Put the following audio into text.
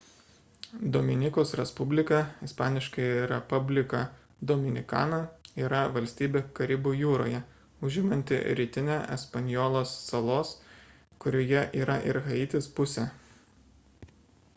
dominikos respublika isp. república dominicana yra valstybė karibų jūroje užimanti rytinę espanjolos salos kurioje yra ir haitis pusę